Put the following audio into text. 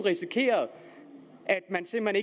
at man simpelt